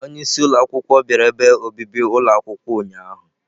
Onye isi ụlọ akwụkwọ bịara ebe obibi ụlọ akwụkwọ ụnyahụ.